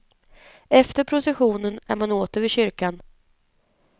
Efter processionen är man åter vid kyrkan.